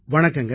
வணக்கங்க